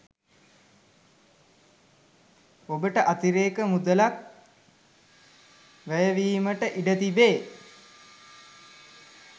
ඔබට අතිරේක මුදලක් වැයවීමට ඉඩ තිබේ.